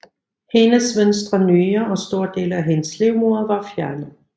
Hendes venstre nyre og store dele af hendes livmoder var fjernet